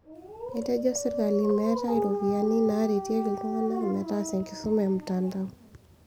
Etejo sirkali meetai ropiyiani naaretieki iltungana metaasa enkisuma e mtandao